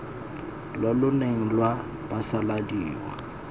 lo lo neng lwa phasaladiwa